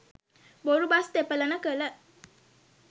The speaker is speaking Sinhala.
බොරු බස් තෙපලන කළ